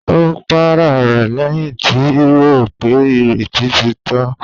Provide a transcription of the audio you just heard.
Ó para rẹ̀ lẹ́yìn tí rò pé ìrètí ti tán.